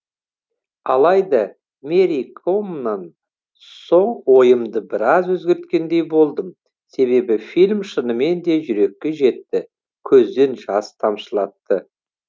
алайда мэри комнан соң ойымды біраз өзгерткендей болдым себебі фильм шынымен де жүрекке жетті көзден жас тамшылатты